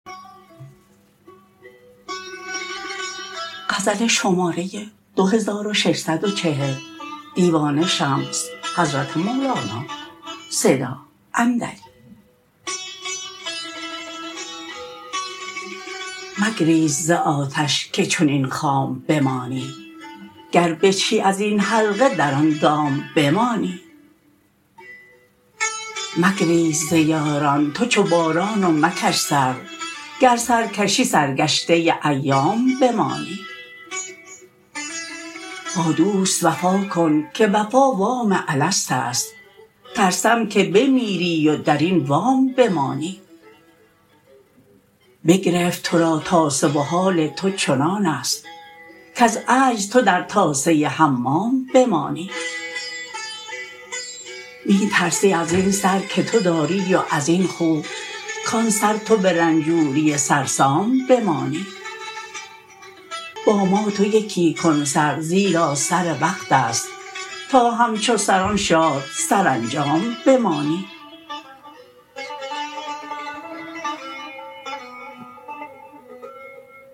مگریز ز آتش که چنین خام بمانی گر بجهی از این حلقه در آن دام بمانی مگریز ز یاران تو چو باران و مکش سر گر سر کشی سرگشته ایام بمانی با دوست وفا کن که وفا وام الست است ترسم که بمیری و در این وام بمانی بگرفت تو را تاسه و حال تو چنان است کز عجز تو در تاسه حمام بمانی می ترسی از این سر که تو داری و از این خو کان سر تو به رنجوری سرسام بمانی با ما تو یکی کن سر زیرا سر وقت است تا همچو سران شاد سرانجام بمانی